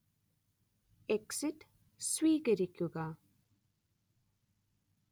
exit സ്വീകരിക്കുക